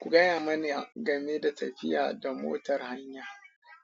Ku gaya mani game da tafiya da motar hanya.